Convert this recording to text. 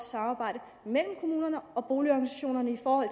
samarbejde mellem kommunerne og boligorganisationerne i forhold